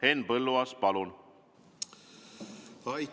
Henn Põlluaas, palun!